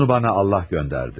Onu bana Allah göndərdi.